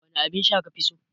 Wane abinsha kafi so?